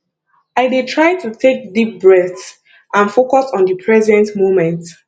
i dey try to take deep breaths and focus on di present moment